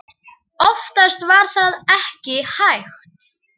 Oftast var það ekki hægt.